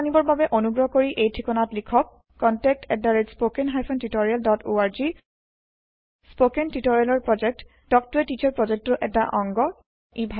অধিক জানিবৰ বাবে অনুগ্ৰহ কৰি এই ঠিকনাত লিখক contactspoken tutorialorg স্পৌকেন টিওটৰিয়েলৰ প্ৰকল্প তাল্ক ত a টিচাৰ প্ৰকল্পৰ এটা অংগ